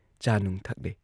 ꯆꯥꯅꯨꯡ ꯊꯛꯂꯦ ꯫